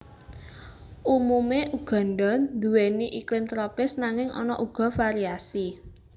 Umumé Uganda nduwèni iklim tropis nanging ana uga variasi